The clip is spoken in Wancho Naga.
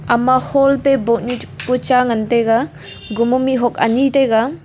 ama hall taiboh nuchu pucha ngan taiga gomo mehak anyi taiga.